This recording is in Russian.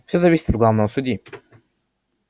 все зависит от главного судьи